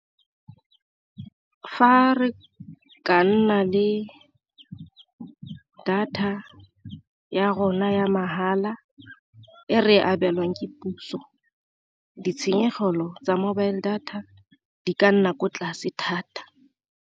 Fa re ka nna le data ya rona ya mahala e re abelwang ke puso, ditshenyegelo tsa mobile data di ka nna ko tlase thata.